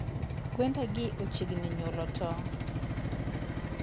Gwenda gi ochiegni nyuolo tong'.